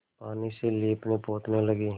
पानी से लीपनेपोतने लगी